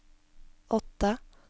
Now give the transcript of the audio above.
åtte